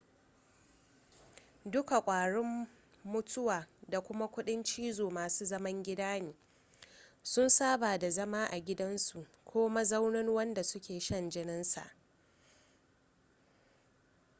duka kwarin mutuwa da kuma kudin cizo masu zaman gida ne sun saba da zama a gidansu ko mazaunin wanda suke shan jininsa